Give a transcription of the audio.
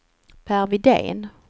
Per Widén